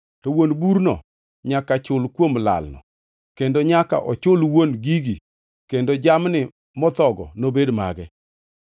to wuon burno nyaka chul kuom lalno; kendo nyaka ochul wuon gigi kendo jamni mothogo nobed mage.